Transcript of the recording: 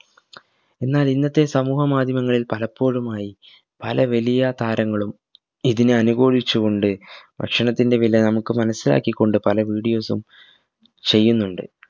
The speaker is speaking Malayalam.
എന്നാൽ ഇന്നത്തെ സമൂഹ മാധ്യമങ്ങളിൽ പലപ്പോഴുമായി പല വലിയ താരങ്ങളും ഇതിനെ അനുകൂലിച് കൊണ്ട് ഭക്ഷണത്തിൻറെ വില നമുക് മനസ്സിലാക്കിക്കൊണ്ട് പല videos ഉം ചെയ്യുന്നുണ്ട്